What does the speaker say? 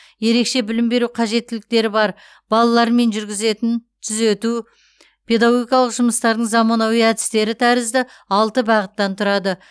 ерекше білім беру қажеттіліктері бар балалармен жүргізетін түзету педагогикалық жұмыстардың заманауи әдістері тәрізді алты бағыттан тұрады